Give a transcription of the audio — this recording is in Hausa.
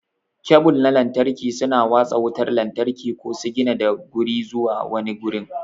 Kebul na lantarki suna watsa wutar lantarki ko sigina daga guri zuwa wani gurin.